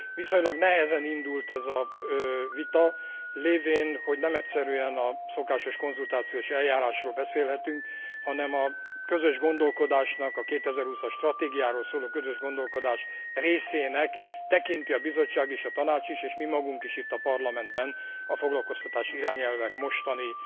Viszonylag nehezen indult ez a vita, lévén, hogy nem egyszerűen a szokásos konzultációs eljárásról beszélhetünk, hanem a közös gondolkodásnak, a 2020 as stratégiáról szóló közös gondolkodás részének tekinti a Bizottság és a Tanács is és mi magunk is itt a Parlamentben a foglalkoztatási irányelvek mostani